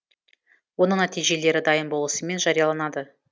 оның нәтижелері дайын болысымен жарияланады